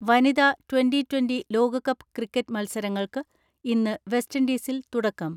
വനിതാ twenty twenty ലോകകപ്പ് cricket മത്സരങ്ങൾക്ക് ഇന്ന് വെസ്റ്റിൻഡീസിൽ തുടക്കം.